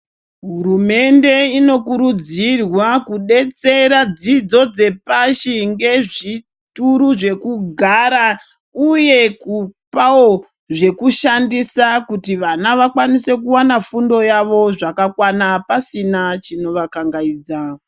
Hurumende inokurudzirwa kudetsera dzidzo dzepashi ngezvituru zvekugara uye kupawo zvekushandisa kuti vana vakwanise kuwana fundo yavo zvakakwana pasina chinovakangaidza.